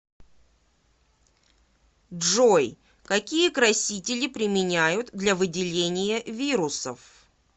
джой какие красители применяют для выделения вирусов